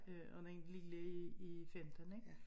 Øh og den lille er er 15 ik